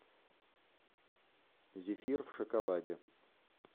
зефир в шоколаде